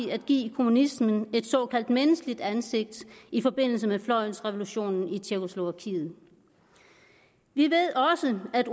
at give kommunismen et såkaldt menneskeligt ansigt i forbindelse med fløjsrevolutionen i tjekkoslovakiet vi ved også at